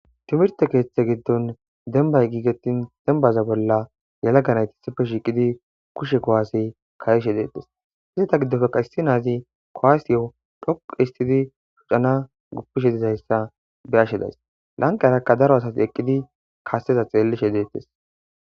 timirte keeththe giddon dembay giigettin dembaza bolla yalaganayti isife shiiqidi kushe kowaasey kayishe deettes izita giddofeka issi naazi kowaasiyo dhoqu histidi shucana guppishe dizayssa beyashe days lanqa erakka daro asati eqqidi kasseza xeellishe deettes